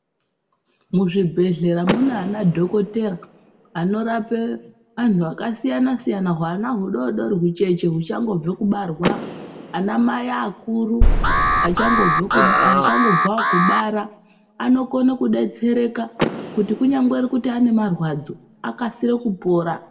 Mu zvibhedhlera mune ana dhokotera ano rape anhu aka siyana siyana hwana hu dodori hucheche hucha ngobve kubarwa ana mai akuru acha ngobvawo kubara ano kone ku detsereka kuti kunyangwe kuti ane marwadzo akasire kupora.